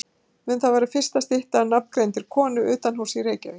Mun það vera fyrsta stytta af nafngreindri konu utanhúss í Reykjavík.